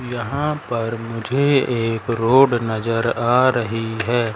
यहां पर मुझे एक रोड नजर आ रही है।